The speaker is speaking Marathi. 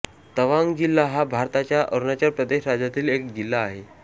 तवांग जिल्हा हा भारताच्या अरुणाचल प्रदेश राज्यातील एक जिल्हा आहे